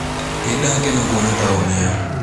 Nĩndakena kuona taũni ĩyo.